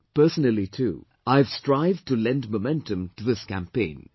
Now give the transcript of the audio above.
Personally too, I have strived to lend momentum to this campaign